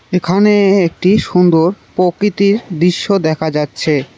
এখানে একটি সুন্দর পকিতির দৃশ্য দেখা যাচ্ছে।